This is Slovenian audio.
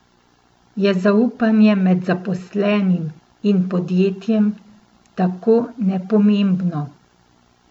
Je zaupanje med zaposlenim in podjetjem tako nepomembno?